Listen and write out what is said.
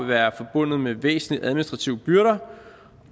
være forbundet med væsentlige administrative byrder